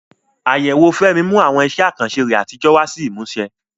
Àyẹ̀wò Fẹ́mi mú àwọn iṣẹ́ àkànṣe rẹ̀ àtijọ́ wá sí ìmúṣẹ.